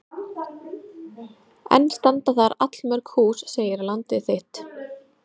Enn standa þar allmörg hús segir Landið þitt.